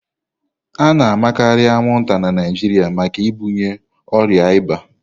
A na-amakarị anwụnta na Naịjirịa maka ibunye ọrịa ịba.